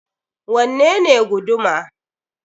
Wanne ne guduma?